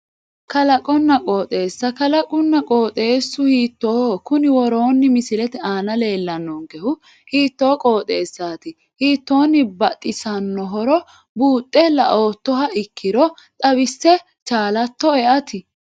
Kalqonna qooxeessa kalaqunna qooxeessu hiittooho kuni woroonni misilete aana leellannonkehu hiittoo qooxeessaati hiittoonni baxisannohoro buuxxe la"oottoha ikkiro xawisse chaalattoe ati